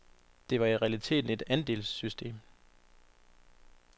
Det var i realiteten et andelssystem.